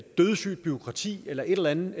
dødssygt bureaukrati eller et eller andet